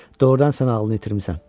Doğrudan sən ağlını itirmisən.